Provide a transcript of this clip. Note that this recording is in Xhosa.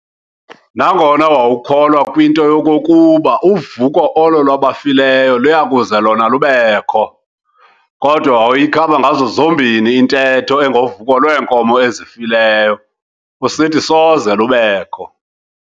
Nangona wawukholwa kwinto yokokuba uvuko olo lwabafileyo luya kuze lona lubekho, kodwa wawuyikhaba ngazo zombini intetho engovuko lweenkomo ezifileyo, usithi soze lubekho.